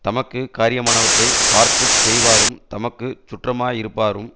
தமக்கு காரியமானவற்றைப் பார்த்து செய்வாரும் தமக்கு சுற்றமாயிருப்பாரும்